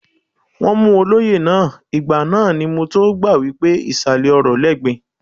Wọ́n mú olóyè náà, ìgbà náà ni mọ tó gbà wípé ìsàlẹ̀ ọrọ̀ lẹ́gbin.